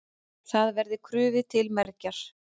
Það verði krufið til mergjar.